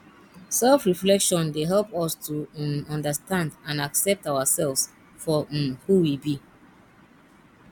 selfreflection dey help us to um understand and accept ourselves for um who we be